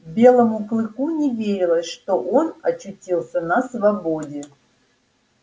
белому клыку не верилось что он очутился на свободе